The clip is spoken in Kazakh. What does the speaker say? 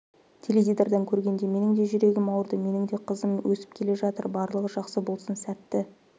теледидардан көргенде менің де жүрегім ауырды менің де қызым өсім келе жатыр барлығы жақсы болсын сәтті